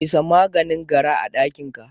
Fesa maganin gara a ɗakinka.